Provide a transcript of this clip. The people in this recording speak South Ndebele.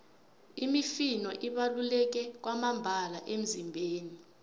imifino ibaluleke kwamambala emizimbeni